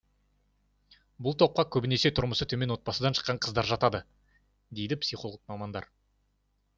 бұл топқа көбінесе тұрмысы төмен отбасыдан шыққан қыздар жатады дейді психолог мамандар